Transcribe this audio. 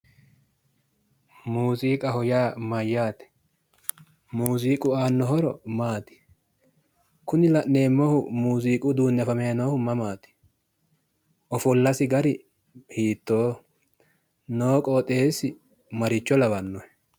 Muuziiqaho yaa maayyaate? Muuziiqu aanno horo maati? Kuni la'neemmohu muziiqu uduunni afamayi noohu mamaati? Ofollasi gari hiittooho? Noo qooxeessi maricho lawannohe?